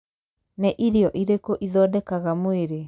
Nĩ irio irĩkũ ithondekaga mwĩrĩ?